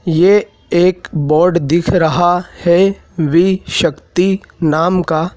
ये एक बोर्ड दिख रहा है वी शक्ति नाम का--